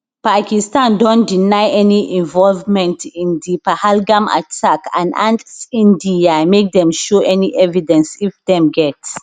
pakistan don deny any involvement in di pahalgam attack and ask india make dem show any evidence if dem get